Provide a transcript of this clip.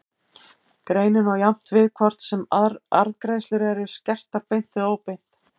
Greinin á jafnt við hvort sem arðgreiðslur eru skertar beint eða óbeint.